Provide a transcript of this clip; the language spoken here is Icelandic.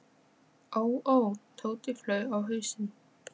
ó, ó, Tóti flaug á hausinn.